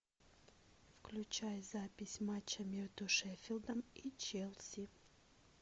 включай запись матча между шеффилдом и челси